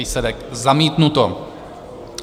Výsledek: zamítnuto.